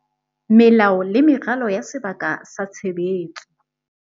Melao le meralo ya sebaka sa tshebetso